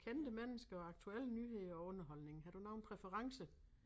Kendte mennesker aktuelle nyheder og underholdning har du nogen præferencer?